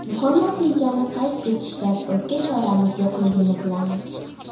Muhim natijani qayd etishdan o‘zga choramiz yo‘qligini bilamiz.